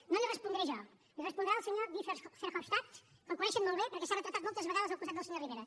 no li ho respondré jo li ho respondrà el senyor guy verhofstadt que el coneixen molt bé perquè s’ha retratat moltes vegades al costat del senyor rivera